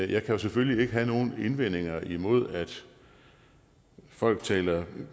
jeg kan jo selvfølgelig ikke have nogen indvendinger imod at folk taler